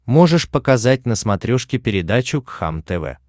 можешь показать на смотрешке передачу кхлм тв